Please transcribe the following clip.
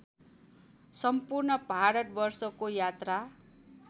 सम्पूर्ण भारतवर्षको यात्रा